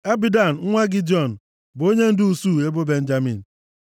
Abidan nwa Gidiọni bụ onyendu usuu ebo Benjamin.